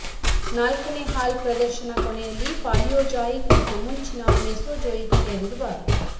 ನಾಲ್ಕನೇ ಹಾಲ್ ಪ್ರದರ್ಶನ ಕೊನೆಯಲ್ಲಿ ಪಾಲಿಯೋಜಾಯಿಕ್ ಮತ್ತು ಮುಂಚಿನ ಮೆಸೊಜೊಯಿಕ್ ಸೇರಿರುವ